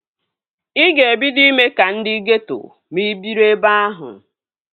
Ị ga-ebido ime ka ndị geeto ma ị biri ebe ahụ